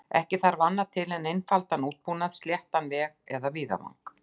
Ekki þarf annað til en einfaldan útbúnað, sléttan veg eða víðavang.